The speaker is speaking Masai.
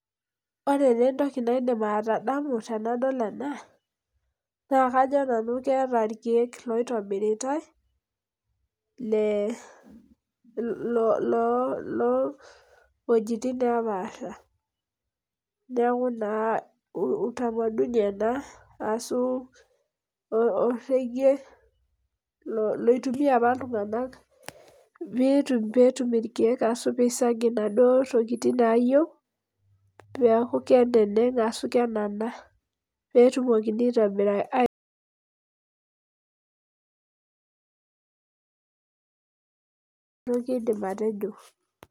Ore taa etoki naidim atadamu tenadol ena naa, kajo nanu keeta irkeek loitobiritae lee loo weujitin nepaasha. Neaku naa, utamaduni ashu orekie loitumia apa iltunganak peetum irkeek ashu pee isag inaduo tokitin nayieu peeku keneneg ashu peaku kenana peetumoki aitobira.